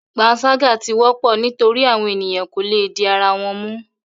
Panṣaga ti wọpọ nitori awọn eniyan ko le di ara wọn mu